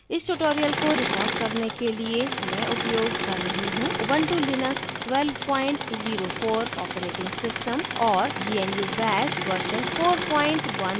इस tutorial को record करने के लिए मैं उपयोग कर रही हूँ ऊबंटु लिनक्स 1204 operating system और gnu bash version 4110